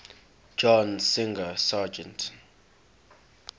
john singer sargent